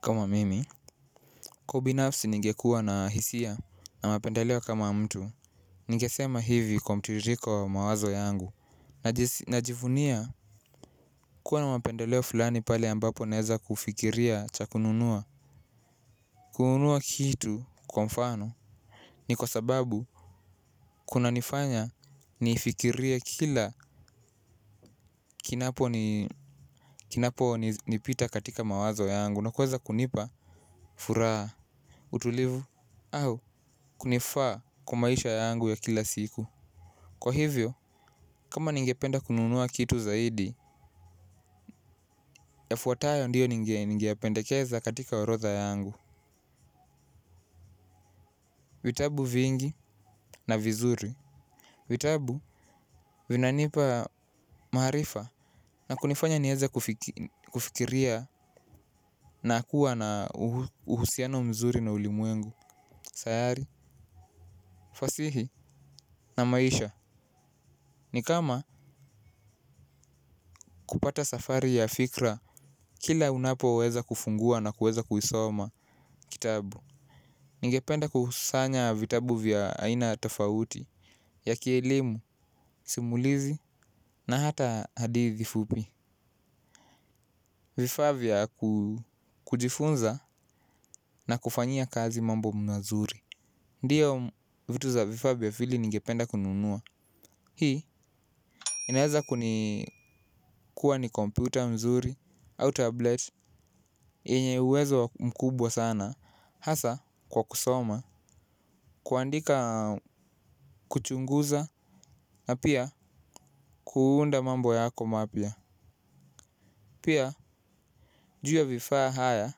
Kama mimi kwa ubinafsi ningekuwa na hisia na mapendaleo kama mtu ningesema hivi kwa mtiririko wa mawazo yangu. Najivunia kuwa na mapendaleo fulani pale ambapo naeza kufikiria cha kununua. Kununua kitu kwa mfano. Ni kwa sababu kunanifanya nifikirie kila kinapo nipita katika mawazo yangu na kuweza kunipa Furaha Utulivu, au kunifaa kwa maisha yangu ya kila siku. Kwa hivyo, kama ningependa kununua kitu zaidi, yafuatayo ndiyo ningeyapendekeza katika orodha yangu. Vitabu vingi na vizuri. Vitabu vinanipa maarifa na kunifanya nieza kufikiria na kuwa na uhusiano mzuri na ulimwengu. Sayari, fasihi na maisha. Ni kama kupata safari ya fikra, kila unapo weza kufungua na kuweza kuisoma kitabu. Ningependa kusanya vitabu vya aina tofauti ya kielimu, simulizi, na hata hadithi fupi. Vifaa vya kujifunza na kufanyia kazi mambo mazuri. Ndiyo vitu za vifaavya fili ningependa kununua. Hii, inaeza kuni kuwa ni kompyuta mzuri au tablet enye uwezo mkubwa sana hasa kwa kusoma kuandika kuchunguza na pia kuunda mambo yako mapya pia juu ya vifaa haya.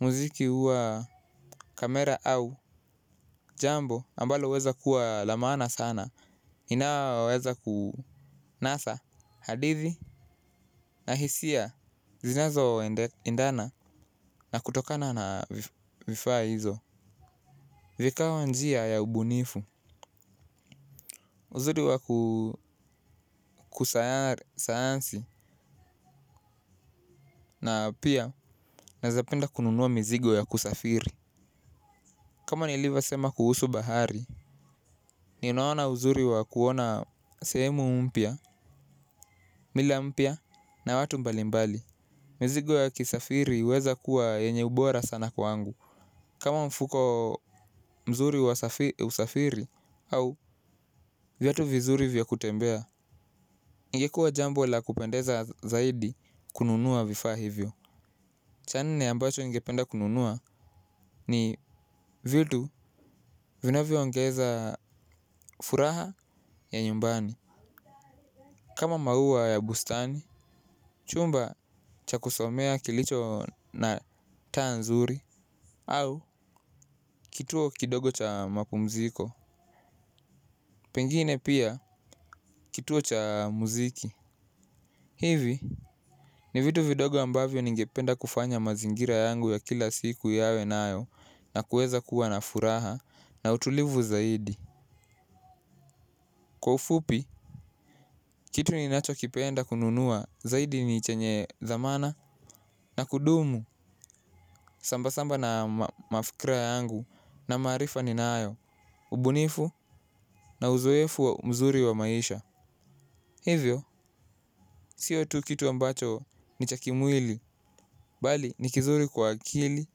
Muziki huwa kamera au jambo ambalo uweza kuwa la maana sana. Inaweza kunasa hadithi na hisia zinazo endana na kutokana na vifaa hizo vikawa njia ya ubunifu. Uzuri wa kusayari sayansi na pia naezapenda kununua mizigo ya kusafiri. Kama nilivyosema kuhusu bahari, ninaona uzuri wa kuona sehemu mpya, mila mpya na watu mbalimbali. Mzigo ya kisafiri uweza kuwa yenye ubora sana kwangu. Kama mfuko mzuri wa usafiri au vyatu vizuri vya kutembea, ingekuwa jambo la kupendeza zaidi kununua vifaa hivyo. Cha nne ambacho ningependa kununua ni vitu vinavyo ongeza furaha ya nyumbani. Kama maua ya bustani, chumba cha kusomea kilicho na taa nzuri au kituo kidogo cha mapumziko. Pengine pia kituo cha muziki. Hivi ni vitu vidogo ambavyo ningependa kufanya mazingira yangu ya kila siku yawe nayo na kuweza kuwa na furaha na utulivu zaidi. Kwa ufupi, kitu ninacho kipenda kununua zaidi ni chenye dhamana na kudumu sambasamba na mafikira yangu na maarifa ni nayo, ubunifu na uzoefu wa mzuri wa maisha. Hivyo, siyo tu kitu ambacho ni cha kimwili, bali ni kizuri kwa akili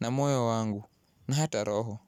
na moyo wangu na hata roho.